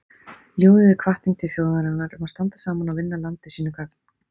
Ljóðið er hvatning til þjóðarinnar um að standa saman og vinna landi sínu gagn.